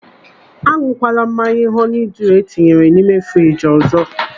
Añụkwala mmanya họni dịu etinyere n'ime friji ọzọ!